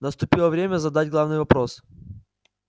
наступило время задать главный вопрос